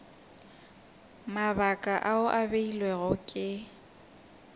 mabaka ao a beilwego ke